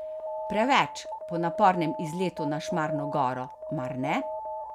Preveč, po napornem izletu na Šmarno goro, mar ne?